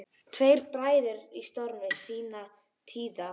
Tveir bræður í stormi sinnar tíðar.